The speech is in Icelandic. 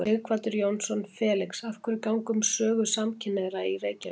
Sighvatur Jónsson: Felix, af hverju ganga um sögu samkynhneigðra í Reykjavík?